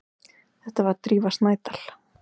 Þetta var Drífa Snædal.